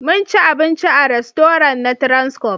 Mun ci abinci a rastoran na transcorp